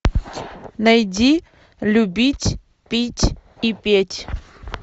найди любить пить и петь